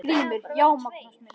GRÍMUR: Já, Magnús minn!